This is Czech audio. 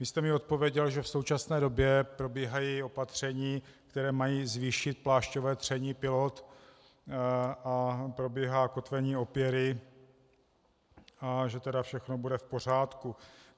Vy jste mi odpověděl, že v současné době probíhají opatření, která mají zvýšit plášťové tření pilot, a probíhá kotvení opěry, a že tedy všechno bude v pořádku.